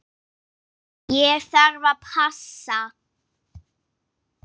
Ég þarf að passa.